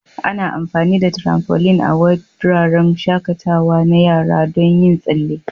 Ana amfani da tramfoline a wuraren shakatawa na yara don yin tsalle.